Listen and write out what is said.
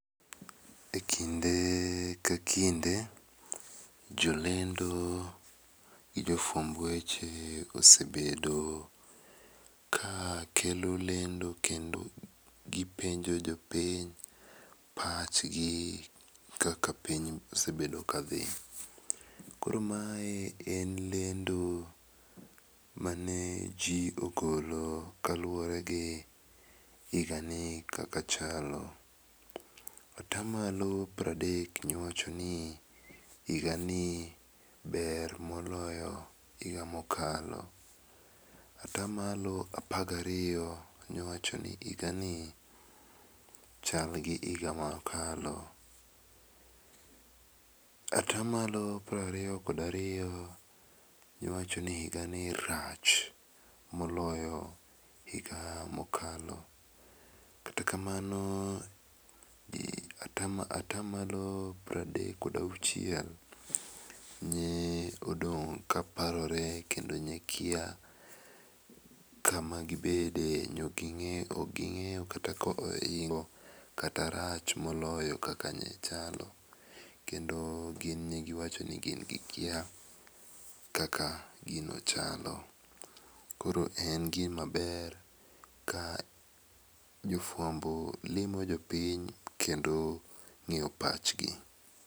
Ekinde ka kinde jolendo gi jofuamb weche osebedo ka kelo lendo kendo gipenjo jopiny pachgi kaka piny osbedo kadhi. Koro mae en lendo mane ji ogolo kaluwore gi higani kaka chalo. Ata malo piero adek iwacho ni higani ber moloyo hoiga mokalo. Ata malo apar gariyo nowacho ni higani rach moloyo higa mokalo. Kata kamano ata malo pieromadek kod auchiel ne odong' ka parore kendo ne kia kama gibedie ok gi ng'eyo kata oingo kata rach mokalo kaka mokalo, kendo gin ne giwacho ni gin gikia kaka gino chalo. Koro en gima ber ka jofuambo limo jopiny kendo ng'eyo pachgi.